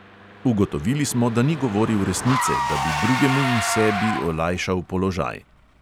Ugotovili smo, da ni govoril resnice, da bi drugemu in sebi olajšal položaj.